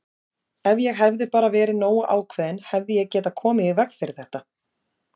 Ef ég hefði bara verið nógu ákveðinn hefði ég getað komið í veg fyrir þetta!